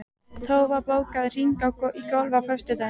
Tófa, bókaðu hring í golf á föstudaginn.